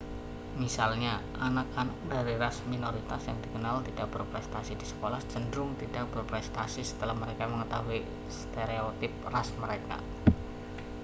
misalnya anak-anak dari ras minoritas yang dikenal tidak berprestasi di sekolah cenderung tidak berprestasi setelah mereka mengetahui stereotip ras mereka